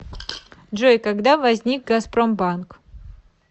джой когда возник газпромбанк